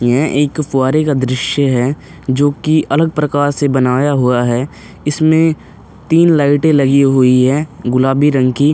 यह एक फुव्वारे का दृश्य है जो कि अलग प्रकार से बनाया हुआ है। इसमें तीन लाइटें लगी हुई हैं गुलाबी रंग की।